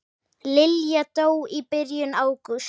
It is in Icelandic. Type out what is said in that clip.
Lilla dó í byrjun ágúst.